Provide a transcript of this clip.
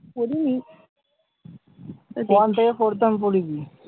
পড়িনি দেখেছি।